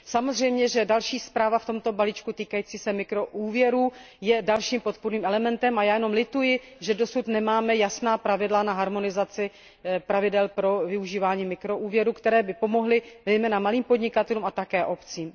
Samozřejmě, že další zpráva v tomto balíčku týkající se mikroúvěrů je dalším podpůrným elementem a já jenom lituji, že dosud nemáme jasná pravidla na harmonizaci pravidel pro využívání mikroúvěrů, které by pomohly zejména malým podnikatelům a také obcím.